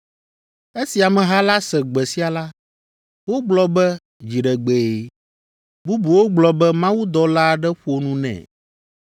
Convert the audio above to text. Esi ameha la se gbe sia la, wogblɔ be dziɖegbee; bubuwo gblɔ be mawudɔla aɖe ƒo nu nɛ.